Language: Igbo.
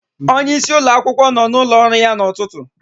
Onyeisi ụlọakwụkwọ nọ n'ụlọ ọrụ ya n'ụtụtụ.